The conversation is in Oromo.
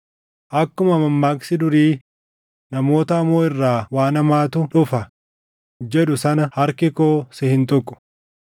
Akkuma mammaaksi durii, ‘Namoota hamoo irraa waan hamaatu dhufa’ jedhu sana harki koo si hin tuqu.